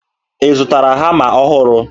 Ị zụtara hama ọhụrụ?